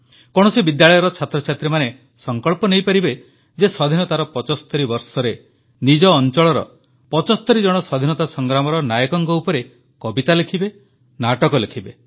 କୌଣସି ବିଦ୍ୟାଳୟର ଛାତ୍ରଛାତ୍ରୀମାନେ ସଂକଳ୍ପ ନେଇପାରିବେ ଯେ ସ୍ୱାଧୀନତାର 75 ବର୍ଷରେ ନିଜ ଅଂଚଳର 75 ଜଣ ସ୍ୱାଧୀନତା ସଂଗ୍ରାମର ନାୟକଙ୍କ ଉପରେ କବିତା ଲେଖିବେ ନାଟକ ଲେଖିବେ